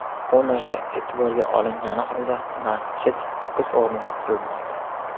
Bu narsa e’tiborga olingani holda, masjid o‘z o‘rniga qurilmoqda”.